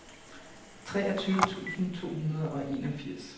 treogtyve tusind to hundrede og enogfirs